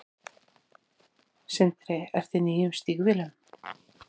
Sindri: Ertu í nýjum stígvélum?